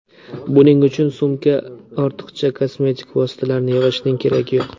Buning uchun sumka ortiqcha kosmetik vositalarni yig‘ishning keragi yo‘q.